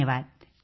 धन्यवाद